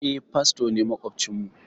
Eh, fasto ne maƙwabcin mu.